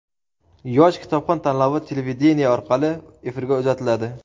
"Yosh kitobxon" tanlovi televideniye orqali efirga uzatiladi!.